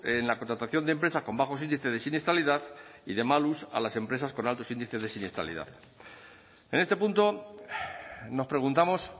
en la contratación de empresas con bajos índices de siniestralidad y de malus a las empresas con alto índices de siniestralidad en este punto nos preguntamos